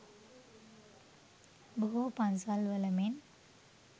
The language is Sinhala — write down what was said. බොහෝ පන්සල් වල මෙන්